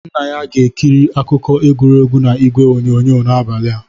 Nna ya ga-ekiri akụkọ egwuregwu na ịgwe onyonyo n'abalị a.